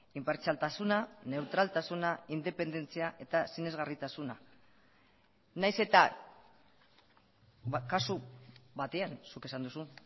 inpartzialtasuna neutraltasuna independentzia eta sinesgarritasuna nahiz eta kasu batean zuk esan duzu